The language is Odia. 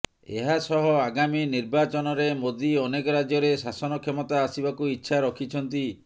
ଏହାସହ ଆଗାମୀ ନିର୍ବାଚନରେ ମୋଦି ଅନେକ ରାଜ୍ୟରେ ଶାସନ କ୍ଷମତା ଆସିବାକୁ ଇଚ୍ଛା ରଖିଛନ୍ତି